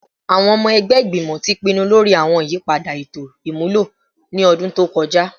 Awọn ọmọ ẹgbẹ Igbimọ ti pinnu lori awọn iyipada eto imulo ni ọdun to kọja